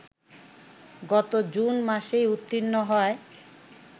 গত জুন মাসেই উত্তীর্ণ হয়